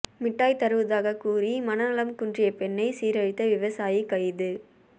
மிட்டாய் தருவதாகக் கூறி மனநலம் குன்றிய பெண்ணை சீரழித்த விவசாயி கைது